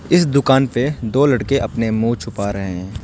इस दुकान पे दो लड़के अपना मुंह छुपा रहे हैं।